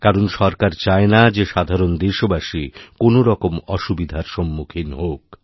কারণ সরকার চায় না যে সাধারণ দেশবাসী কোনও রকমঅসুবিধার সম্মুখীন হোক